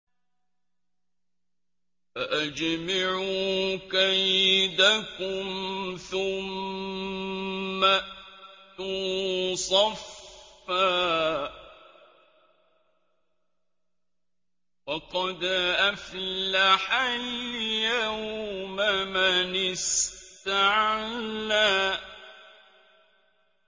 فَأَجْمِعُوا كَيْدَكُمْ ثُمَّ ائْتُوا صَفًّا ۚ وَقَدْ أَفْلَحَ الْيَوْمَ مَنِ اسْتَعْلَىٰ